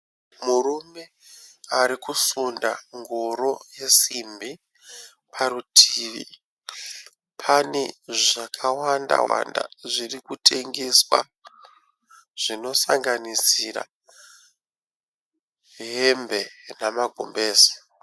Murume ari kusunda ngoro yesimbi. Parutivi pane zvakawanda wanda zviri kutengeswa zvinosanganisira hembe namagumbezi.